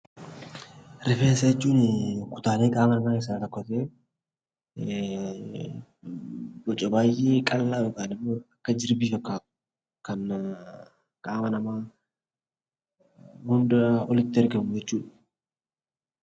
Rifeensa jechuun kutaalee qaamaa keessaa tokko ta'ee boca baay'ee qallaa yookiin immoo akka jirbii fakkaatu kan qaama namaa hundaa olitti argamu jechuudha.